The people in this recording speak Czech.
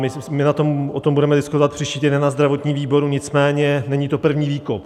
My o tom budeme diskutovat příští týden na zdravotním výboru, nicméně není to první výkop.